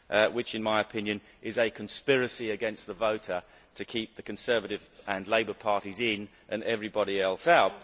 which, in my opinion, is a conspiracy against the voter to keep the Conservative and Labour parties in and everybody else out.